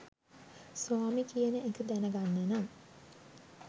ස්වාමි කියන එක දැනගන්න නම්